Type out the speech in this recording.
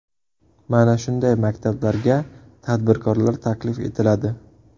Mana shunday maktablarga tadbirkorlar taklif etiladi.